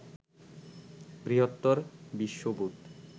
বৃহত্তর বিশ্ববোধ